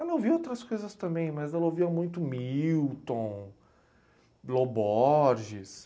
Ela ouvia outras coisas também, mas ela ouvia muito o Milton, Lo Borges.